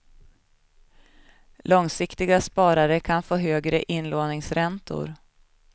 Långsiktiga sparare kan få högre inlåningsräntor.